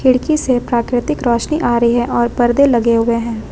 खिड़की से प्राकृतिक रोशनी आ रही है और पर्दे लगे हुए हैं।